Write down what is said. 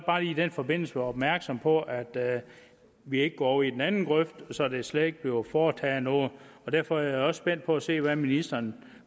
den forbindelse være opmærksomme på at vi ikke går over i den anden grøft så der slet ikke bliver foretaget noget og derfor er jeg også spændt på at se hvad ministeren